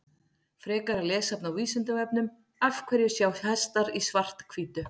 Frekara lesefni á Vísindavefnum Af hverju sjá hestar í svart-hvítu?